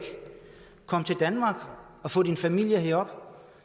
kom til danmark og få din familie herop